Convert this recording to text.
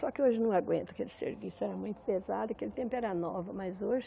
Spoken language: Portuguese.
Só que hoje não aguento aquele serviço, era muito pesado, naquele tempo era nova, mas hoje...